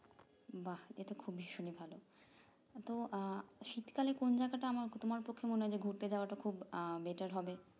বা এটা খুব ভীষণই ভালো ওটাও আহ শীতকালে কোন জায়গাটা আমার তোমার পক্ষে মনে হয় ঘুরতে যাওয়াটা খুব আহ better হবে